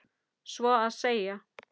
Svo að segja.